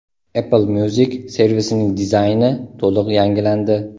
Apple Music servisining dizayni to‘liq yangilandi.